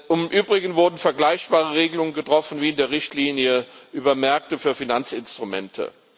Im Übrigen wurden vergleichbare Regelungen getroffen wie in der Richtlinie über Märkte für Finanzinstrumente.